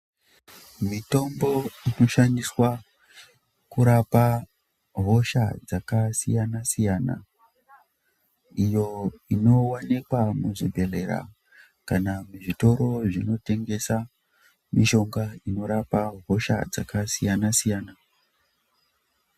Mitombo inoshandiswa kurapa hosha dzakasiyana siyana iyo inowanikwa muzvibhedhlera kana muzvitoro zvinotengesa mishonga inorapa hosha dzakasiyana siyana.